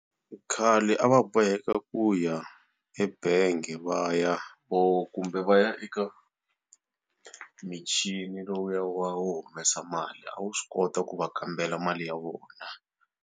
Khale a va boheka ku ya ebangi va ya kumbe va ya eka michini lowuya wa wo humesa mali a wu swi kota ku va kambela mali ya vona.